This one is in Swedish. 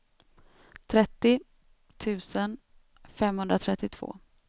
trettio tusen femhundratrettiotvå